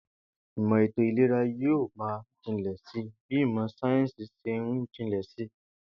Ìmò̩ ètò ìlera yóò máa jinlè̩ si bí ìmò̩ sáyéǹsì s̩e ń jinlè̩ si